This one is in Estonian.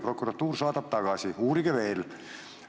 Prokuratuur on saatnud tagasi: uurige veel!